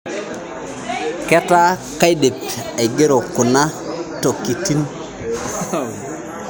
Keetaa kaidip aigero kuna tokitin